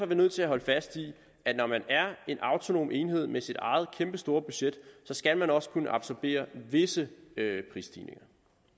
vi nødt til at holde fast i at når man er en autonom enhed med sit eget kæmpestore budget skal man også kunne absorbere visse prisstigninger